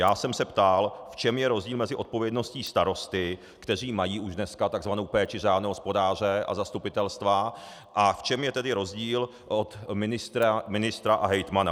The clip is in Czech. Já jsem se ptal, v čem je rozdíl mezi odpovědností starostů, kteří mají už dneska tzv. péči řádného hospodáře, a zastupitelstva, a v čem je tedy rozdíl od ministra a hejtmana.